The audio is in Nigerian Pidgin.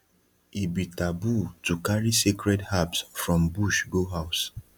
e be taboo to carry sacred herbs from bush go house